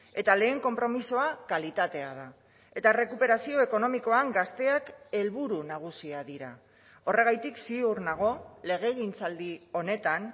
eta lehen konpromisoa kalitatea da eta errekuperazio ekonomikoan gazteak helburu nagusia dira horregatik ziur nago legegintzaldi honetan